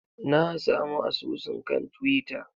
Na samu asusunsa kan twitter.